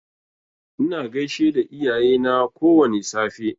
Ina gaishe da iyayena kowwani safe.